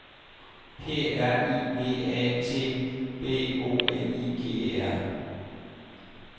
P R I V A T B O L I G E R